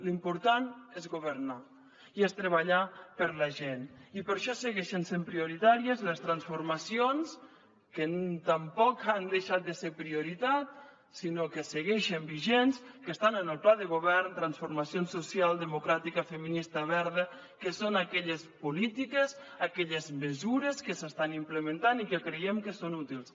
l’important és governar i és treballar per la gent i per això segueixen sent prioritàries les transformacions que tampoc han deixat de ser prioritat sinó que segueixen vigents que estan en el pla de govern transformacions social democràtica feminista verda que són aquelles polítiques aquelles mesures que s’estan implementant i que creiem que són útils